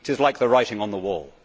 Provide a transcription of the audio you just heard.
'tis like the writing on the wall.'